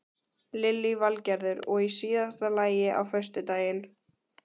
Lillý Valgerður: Og í síðasta lagi á föstudaginn?